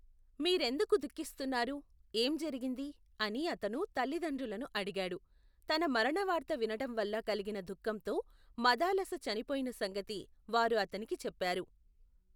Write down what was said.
మీ రెందుకు ధుఃఖిస్తున్నారు ఏం జరిగింది, అని అతను తల్లి దండ్రులను అడిగాడు, తన మరణవార్త వినటంవల్ల కలిగిన దుఃఖంతో మదాలస చనిపోయిన సంగతి, వారు అతనికి చెప్పారు.